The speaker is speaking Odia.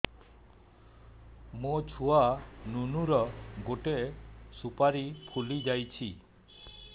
ମୋ ଛୁଆ ନୁନୁ ର ଗଟେ ସୁପାରୀ ଫୁଲି ଯାଇଛି